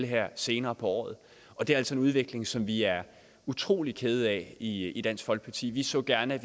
her senere på året og det er altså en udvikling som vi er utrolig kede af i i dansk folkeparti vi så gerne at